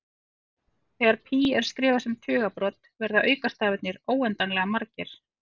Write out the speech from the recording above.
Þegar pí er skrifað sem tugabrot verða aukastafirnir óendanlega margir.